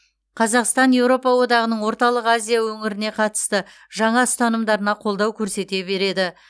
қазақстан еуропа одағының орталық азия өңіріне қатысты жаңа ұстанымдарына қолдау көрсете береді